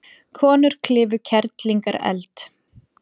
Konur klifu Kerlingareld